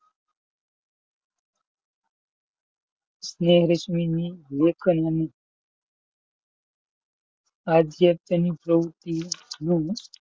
સ્નેહ રશ્મિ ની આધ્યાત્મિક પ્રવૃત્તિનું,